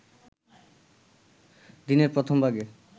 দিনের প্রথমভাগে